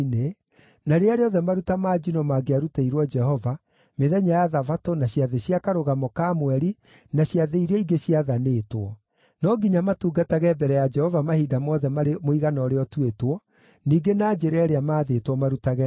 na rĩrĩa rĩothe maruta ma njino mangĩarutĩirwo Jehova, mĩthenya ya Thabatũ, na ciathĩ cia Karũgamo ka Mweri, na ciathĩ iria ingĩ ciathanĩtwo. No nginya matungatage mbere ya Jehova mahinda mothe marĩ mũigana ũrĩa ũtuĩtwo, ningĩ na njĩra ĩrĩa maathĩtwo marutage nayo.